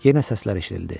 Yenə səslər eşidildi.